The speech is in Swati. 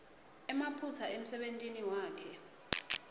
emaphutsa emsebentini wakhe